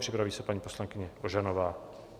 Připraví se paní poslankyně Ožanová.